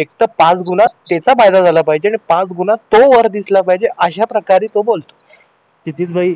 एकतर पाचगुना त्याचा फायदा झाला पाहिजे किंवा पाच प्रकारे तो वर दिसला पाहिजे अश्या प्रकारे तो बोलतो क्षितिज भाई